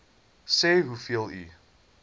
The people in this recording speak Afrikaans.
sê hoeveel u